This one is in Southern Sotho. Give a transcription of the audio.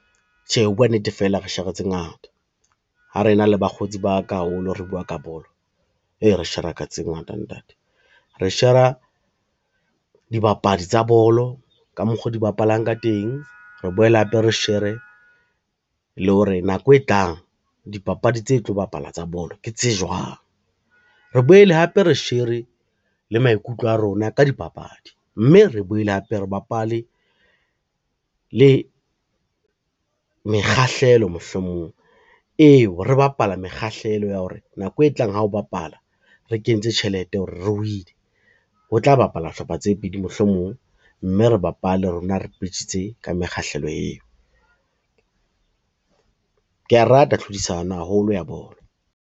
Tjhe, ho bua nnete fela re shera tse ngata, ha rena le bakgotsi ba ka haholo re bua ka bolo ee re shera ka tse ngata ntate. Re shera dibapadi tsa bolo ka mokgo di bapalang ka teng, re boele hape re shere le hore nako e tlang dipapadi tse tlo bapala tsa bolo ke tse jwang. Re boele hape re shere le maikutlo a rona ka dibapadi, mme re boele hape re bapale le mekgahlelo mohlomong eo, re bapala mekgahlelo ya hore nako e tlang ha o bapala re kentse tjhelete hore re win-e ho tla bapala hlopha tse pedi mohlomong, mme re bapale rona re betjhitse ka mekgahlelo eo. Kea rata tlhodisano haholo ya bolo.